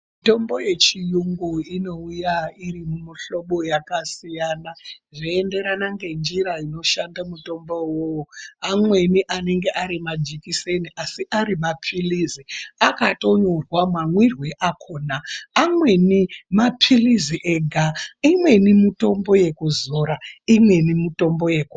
Mitombo yechiyungu inouya iri mumihlobo yakasiyana zveenderana ngenjira inoshanda mutombo vovo. Amweni anenge ari majekiseni asi ari maphirizi akatonyorwa mamwirwe akona. Amweni maphirizi ega imweni mitombo yekuzora imweni mitombo yekumwa.